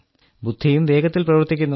ബുദ്ധിയും വേഗത്തിൽ പ്രവർത്തിക്കുന്നു